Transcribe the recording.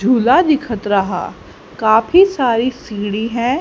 झूला दिखत रहा काफी सारी सीढ़ी है।